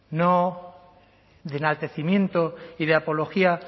de enaltecimiento y apología